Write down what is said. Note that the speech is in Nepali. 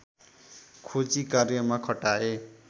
खोजी कार्यमा खटाए